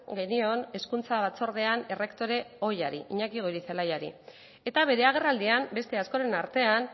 genion hezkuntza batzordean errektore ohiari iñaki goirizelaiari eta bere agerraldian beste askoren artean